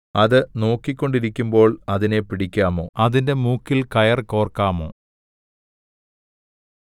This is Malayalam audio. അത് നോക്കിക്കൊണ്ടിരിക്കുമ്പോൾ അതിനെ പിടിക്കാമോ അതിന്റെ മൂക്കിൽ കയർ കോർക്കാമോ